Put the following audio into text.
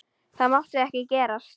Það mátti ekki gerast.